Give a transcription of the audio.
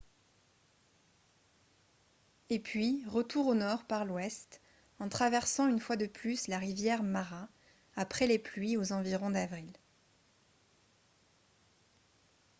et puis retour au nord par l'ouest en traversant une fois de plus la rivière mara après les pluies aux environs d'avril